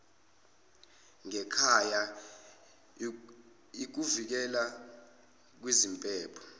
ngekhaya ikuvikela kwiziphepho